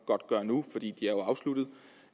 godt gøre nu for de er jo afsluttet